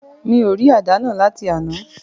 Mi ò rí àdá náà láti àná.